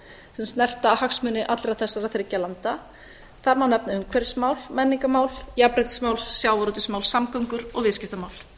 sem snerta hagsmuni allra þessara þriggja landa þar má nefna umhverfismál menningarmál jafnréttismál sjávarútvegsmál samgöngur og viðskiptamál